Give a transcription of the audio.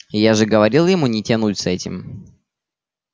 я же говорил ему не тянуть с этим